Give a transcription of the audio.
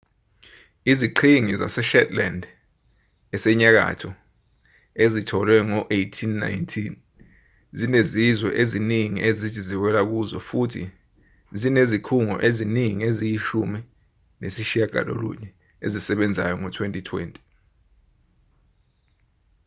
iziqhingi zaseshetland esenyakatho ezitholwe ngo-1819 zinezizwe eziningi ezithi ziwela kuzo futhi zinezikhungo eziningi eziyishumi nesishiyagalolunye ezisebenzayo ngo-2020